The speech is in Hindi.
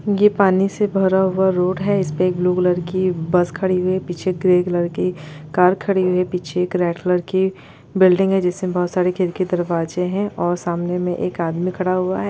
ये पानी से भरा हुआ रोड है इस पे एक ब्लू कलर की बस खड़ी हुई है पीछे ग्रे कलर की कार खड़ी हुई है पीछे एक रेड कलर की बिल्डिंग है जिसमें बहुत सारे खिड़की दरवाजे है और सामने एक आदमी खड़ा हुआ है।